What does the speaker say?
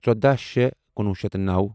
ژوداہ شےٚ کُنوُہ شیٚتھ نَو